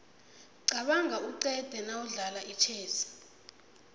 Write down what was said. qabanga uqede nawudlala itjhezi